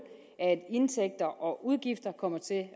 at indtægter og udgifter kommer til at